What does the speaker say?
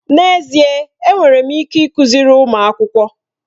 N'ezie ee! Enwere m ike ịkụziri ụmụ akwụkwọ.